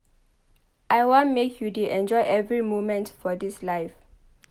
I wan make you dey enjoy every moment for dis life.